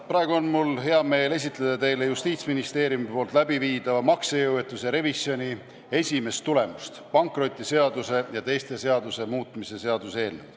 Praegu on mul hea meel esitleda teile Justiitsministeeriumi tehtava maksejõuetuse revisjoni esimest tulemust, pankrotiseaduse ja teiste seaduste muutmise seaduse eelnõu.